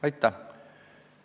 Aitäh!